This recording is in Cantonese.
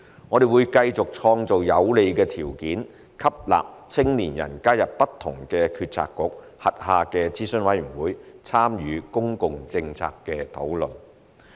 我們會繼續創造有利條件吸納青年人加入不同政策局轄下的諮詢委員會，參與公共政策討論。